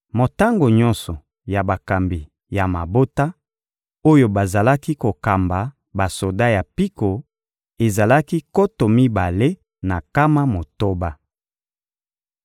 Motango nyonso ya bakambi ya mabota, oyo bazalaki kokamba basoda ya mpiko, ezalaki nkoto mibale na nkama motoba.